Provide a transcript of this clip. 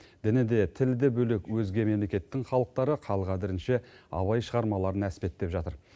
діні де тілі де бөлек өзге мемлекеттің халықтары қал қадірінше абай шығармаларын әспеттеп жатыр